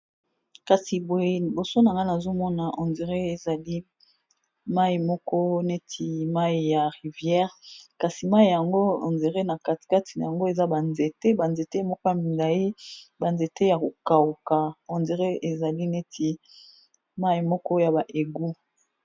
kasi boye liboso na nga nazomona ondré ezali mai moko neti mai ya rivière kasi mai yango endré na katikati na yango eza banzete banzete moko bamilai banzete ya kokauka ondre ezali neti mai moko ya baegu